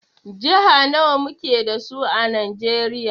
Jiha nawa muke sa su a Najeriya?